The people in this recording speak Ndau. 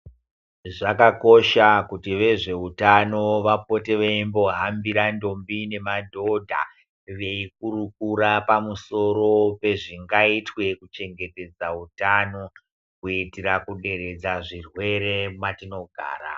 Zvakakosha kuti vezveutano vapote veimbohambira ndombi nemadhodha veikurukura pamusoro pezvingaitwe kuchengetedza utano kuitira kuderedza zvirwere mwatinogara.